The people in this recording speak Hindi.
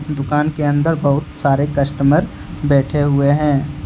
दुकान के अंदर बहुत सारे कस्टमर बैठे हुए हैं।